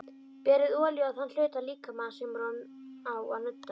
Berið olíu á þann hluta líkamans sem á að nudda.